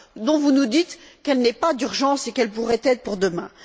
dont vous nous dites qu'elle n'est pas urgente et qu'elle pourrait être pour demain.